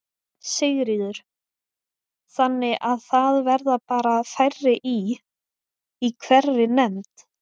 Sigríður: Þannig að það verða bara færri í, í hverri nefnd?